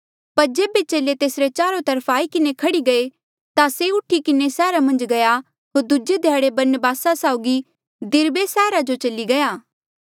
पर जेबे चेले तेसरे चारो तरफ आई किन्हें खह्ड़ी गये ता से उठी किन्हें सैहरा मन्झ गया होर दूजे ध्याड़े बरनबासा साउगी दिरबे सैहरा जो चली गया